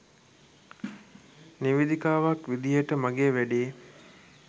නිවේදිකාවක් විදියට මගේ වැඩේ